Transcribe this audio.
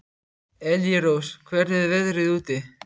Elírós, hvernig er veðrið úti?